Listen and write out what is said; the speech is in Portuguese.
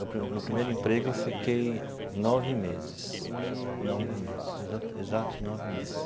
No pri no primeiro emprego, eu fiquei nove meses, nove meses, exato exatos nove meses.